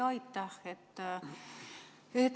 Aitäh!